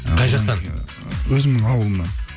қай жақтан өзімнің ауылымнан